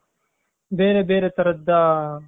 ಬೇರೆ ಬೇರೆ ತರದ್ದ